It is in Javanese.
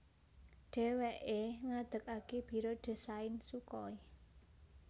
Dhèwèké ngedegaké Biro Désain Sukhoi